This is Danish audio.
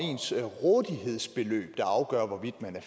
ordet